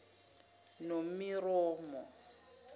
nomiromo